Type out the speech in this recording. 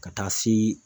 Ka taa se